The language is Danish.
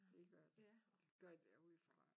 Det gør der. Går jeg da ud fra